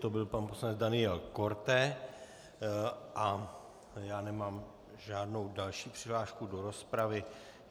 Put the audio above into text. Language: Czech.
To byl pan poslanec Daniel Korte a já nemám žádnou další přihlášku do rozpravy.